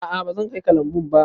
A'a bazan kai ka lambun ba.